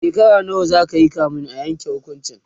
shekara nawa zakayi kamin a Yanke hukuncin?